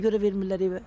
Nəyə görə vermirlər evə?